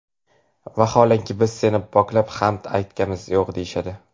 vaholanki biz seni poklab hamd aytamizku, deyishadi.